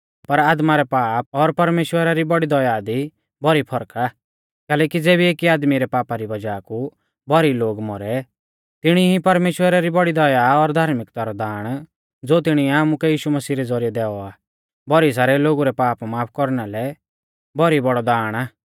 पर आदमा रै पाप और परमेश्‍वरा री बौड़ी दया दी भौरी फर्क आ कैलैकि ज़ेबी एकी आदमी रै पापा री वज़ाह कु भौरी लोग मौरै तिणी ई परमेश्‍वरा री बौड़ी दया और धार्मिकता रौ दाण ज़ो तिणीऐ आमुकै यीशु मसीह रै ज़ौरिऐ दैऔ आ भौरी सारै लोगु रै पाप माफ कौरना लै भौरी बौड़ौ दाण आ